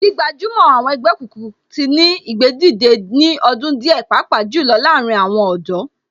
Gbígbajúmọ̀ àwọn ẹgbẹ́ òkùnkùn tí ní ìgbédìde ní ọdún díẹ̀ pàápàá jù lọ láàárín àwọn ọ̀dọ́